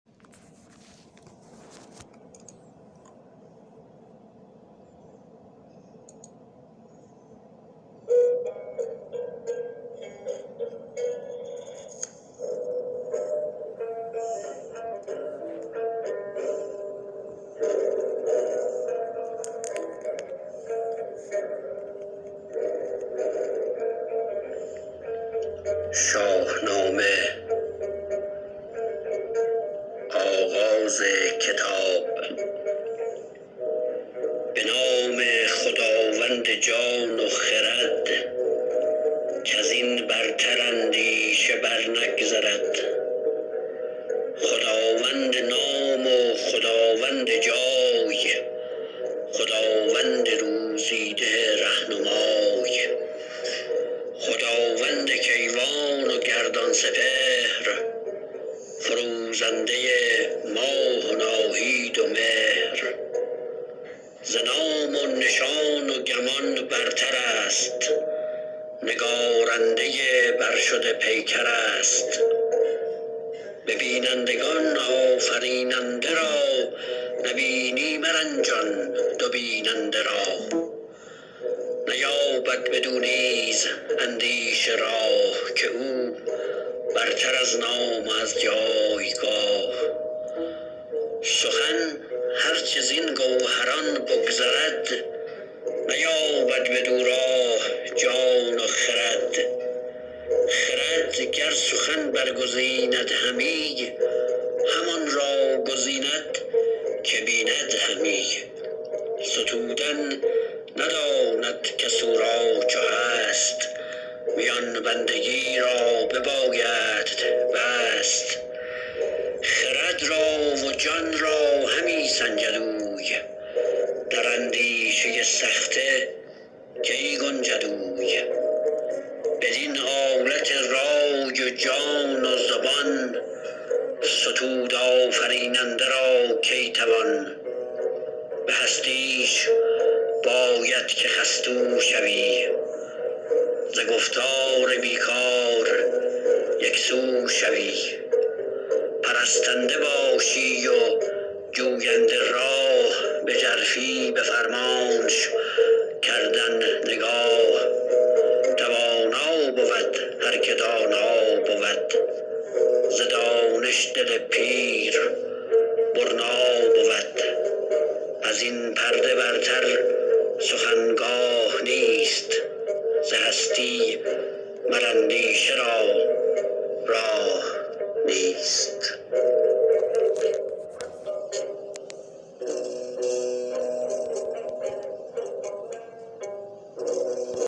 به نام خداوند جان و خرد کز این برتر اندیشه بر نگذرد خداوند نام و خداوند جای خداوند روزی ده رهنمای خداوند کیوان و گردان سپهر فروزنده ماه و ناهید و مهر ز نام و نشان و گمان برتر است نگارنده برشده پیکر است به بینندگان آفریننده را نبینی مرنجان دو بیننده را نیابد بدو نیز اندیشه راه که او برتر از نام و از جایگاه سخن هر چه زین گوهران بگذرد نیابد بدو راه جان و خرد خرد گر سخن برگزیند همی همان را گزیند که بیند همی ستودن نداند کس او را چو هست میان بندگی را ببایدت بست خرد را و جان را همی سنجد اوی در اندیشه سخته کی گنجد اوی بدین آلت رای و جان و زبان ستود آفریننده را کی توان به هستیش باید که خستو شوی ز گفتار بی کار یکسو شوی پرستنده باشی و جوینده راه به ژرفی به فرمانش کردن نگاه توانا بود هر که دانا بود ز دانش دل پیر برنا بود از این پرده برتر سخن گاه نیست ز هستی مر اندیشه را راه نیست